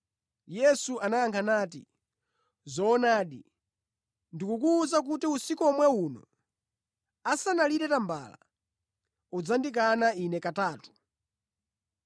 Yesu anayankha nati, “Zoonadi, ndikukuwuza kuti usiku omwe uno, asanalire tambala, udzandikana Ine katatu.”